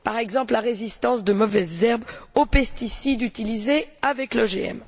Par exemple, la résistance de mauvaises herbes aux pesticides utilisés avec l'OGM.